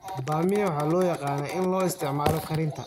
Bamia waxaa loo yaqaan in loo isticmaalo karinta.